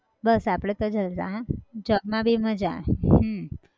બસ આપણે તો જલસા job માં બી માજા હમ